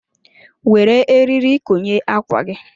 Were eriri konye ákwà gị.